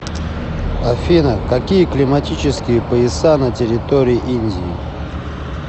афина какие климатические пояса на территории индии